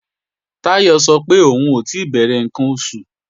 Táyọ̀ sọ pé òun ò tí bẹ̀rẹ̀ ǹkan oṣù